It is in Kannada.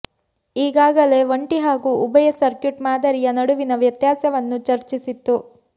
ಈಗಾಗಲೇ ಒಂಟಿ ಹಾಗೂ ಉಭಯ ಸರ್ಕ್ಯೂಟ್ ಮಾದರಿಯ ನಡುವಿನ ವ್ಯತ್ಯಾಸವನ್ನು ಚರ್ಚಿಸಿತ್ತು